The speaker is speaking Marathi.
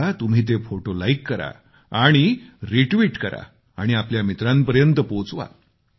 आता तुम्ही ते फोटो लाईक करा आणि रिट्वीट करा आणि आपल्या मित्रांपर्यत पोचवा